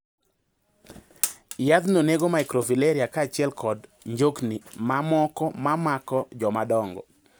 Yadhno nego microfilaria kachiel kod njokni mamoko mamako jomadongo.